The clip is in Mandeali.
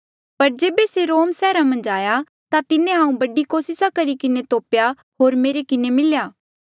पर जेबे से रोम सैहरा मन्झ आया ता तिन्हें हांऊँ बड़ी कोसिस करी किन्हें तोप्या होर मेरे किन्हें मिलेया